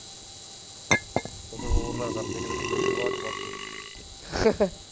ਕੀਤੇ ਹੋਰ ਨਾ ਕਰਦੀ ਕਿਤੇ ਤੂੜੀ ਆਲੀ ਸਵਾਤ ਚ ਵੜ ਕੇ